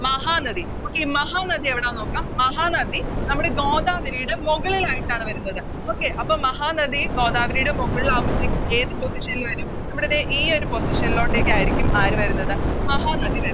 Mahanadi Okay Mahanadi എവിടാന്ന് നോക്കാം മഹാനദി നമ്മുടെ ഗോദാവരിയുടെ മുകളിലായിട്ടാണ് വരുന്നത് Okay മഹാനദി ഗോദാവരിയുടെ മുകളിലവുമ്പഴത്തേക്കും ഏത് Position ൽ വരും നമ്മുടെ ദേ ഈയൊരു Position ലോട്ടക്കാരിക്കും ആര് വരുന്നത് മഹാനദി വരുന്നത്